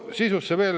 Sisust veel.